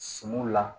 Sumanw la